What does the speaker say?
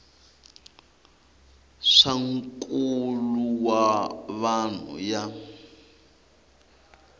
swa nkulo wa vanhu ya